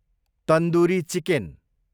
tandoori chicken